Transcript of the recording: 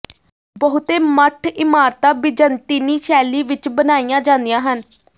ਬਹੁਤੇ ਮੱਠ ਇਮਾਰਤਾਂ ਬਿਜ਼ੰਤੀਨੀ ਸ਼ੈਲੀ ਵਿਚ ਬਣਾਈਆਂ ਜਾਂਦੀਆਂ ਹਨ